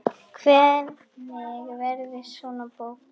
Hvernig verður svona bók til?